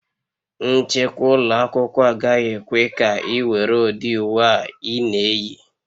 Nchekwa ụlọ akwụkwọ agaghị ekwe ka ị were ụdị uwe a ị na-eyi